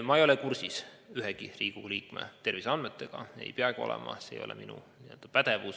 Ma ei ole kursis ühegi Riigikogu liikme terviseandmetega ja ei peagi olema, see ei ole minu pädevuses.